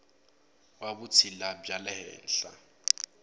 wa vutshila bya le henhla